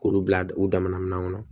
K'olu bila u damana minɛnw kɔnɔ